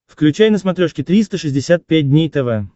включай на смотрешке триста шестьдесят пять дней тв